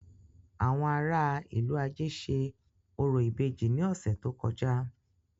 Àwọn ará a ìlú-ajé ṣe orò ìbejì ní ọ̀sẹ̀ tó kọjá.